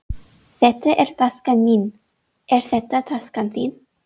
Þetta er taskan mín. Er þetta taskan þín?